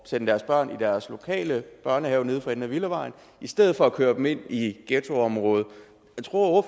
sende deres børn i deres lokale børnehave nede for enden af villavejen i stedet for at køre dem ind i ghettoområdet tror